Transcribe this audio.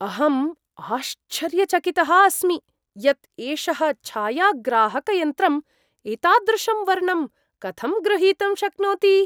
अहं आश्चर्यचकितः अस्मि यत् एषः छायाग्राहकयन्त्रं एतादृशं वर्णं कथं गृहीतुं शक्नोति!